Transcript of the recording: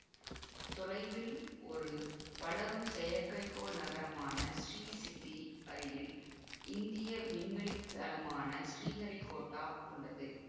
தொலைவில் ஒரு வளரும் செயற்கைக்கோள் நகரமான ஷீசிட்டி அருகில் இந்திய விண்வெளித்தளமான ஷீஹரிகோட்டா உள்ளது